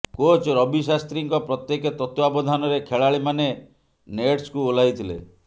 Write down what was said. coach Ravi ଶାସ୍ତ୍ରୀଙ୍କ ପ୍ରତ୍ୟେକ ତତ୍ତ୍ୱାବଧାନରେ ଖେଳାଳିମାନେ ନେଟ୍ସକୁ ଓହ୍ଲାଇଥିଲେ